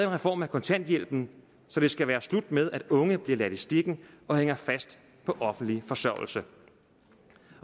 reform af kontanthjælpen så det skal være slut med at unge bliver ladt i stikken og hænger fast på offentlig forsørgelse